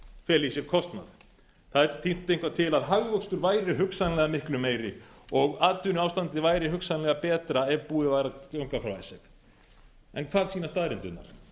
feli í sér kostnað það er tínt eitthvað til að hagvöxtur væri hugsanlega miklu meiri og atvinnuástandið væri hugsanlega betra ef búið væri að ganga frá þessu hvað sýna staðreyndirnar